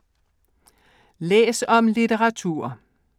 Læs om litteratur